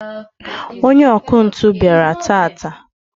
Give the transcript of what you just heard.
onye ọkụ ntụ bịara taata